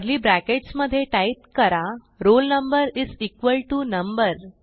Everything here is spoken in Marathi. कर्ली ब्रॅकेट्स मधे टाईप करा roll number is equal to number